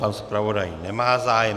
Pan zpravodaj nemá zájem.